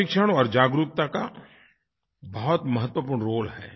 प्रशिक्षण और जागरूकता का बहुत महत्वपूर्ण रोल है